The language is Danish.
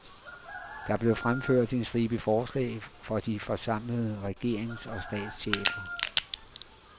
Der blev fremført en stribe forslag for de forsamlede regerings og statschefer.